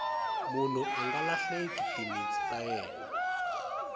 munhu anga lahleki timintsu ta yena